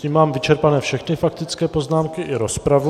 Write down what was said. Tím mám vyčerpané všechny faktické poznámky i rozpravu.